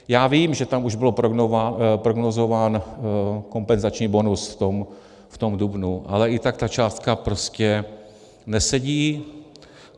Já vím, že tam už byl prognózován kompenzační bonus v tom dubnu, ale i tak ta částka prostě nesedí.